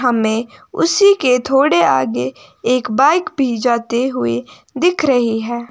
हमें उसी के थोड़े आगे एक बाइक भी जाते हुए दिख रही है।